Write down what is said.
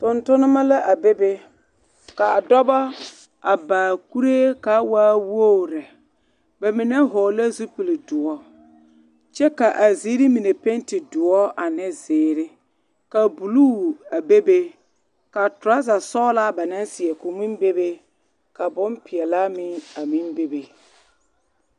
Tontonema la a bebe k,a dɔba a ba a kuree ka a waa wogri lɛ ba mine hɔglɛɛ zupilidoɔ kyɛ k,a ziiri mine penti doɔ ane zeere ka bulu a bebe ka torɔzasɔglaa ba naŋ seɛ meŋ bebe ka bompeɛlaa meŋ a meŋ bebe.